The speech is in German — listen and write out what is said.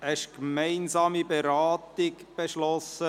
Es wurde die gemeinsame Beratung mit dem Traktandum 17 beschlossen.